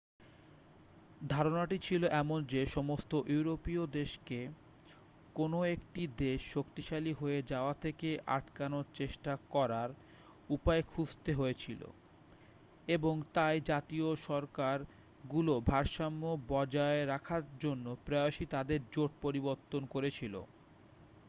ধারণাটি ছিল এমন যে সমস্ত ইউরোপীয় দেশকে কোনও একটি দেশ শক্তিশালী হয়ে যাওয়া থেকে আটকানোর চেষ্টা করার উপায় খুঁজতে হয়েছিল এবং তাই জাতীয় সরকারগুলো ভারসাম্য বজায় রাখার জন্য প্রায়শই তাদের জোট পরিবর্তন করেছিল